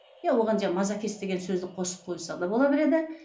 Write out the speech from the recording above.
иә оған мазахист деген сөзді қосып қойса да бола береді